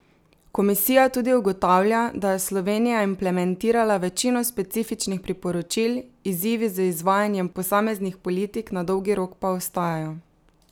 Komisija tudi ugotavlja, da je Slovenija implementirala večino specifičnih priporočil, izzivi z izvajanjem posameznih politik na dolgi rok pa ostajajo.